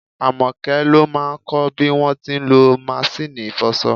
Àmọ́kẹ́ ló máà kọ bí wọ́n ti ń lọ maṣíìnì ìfọṣọ.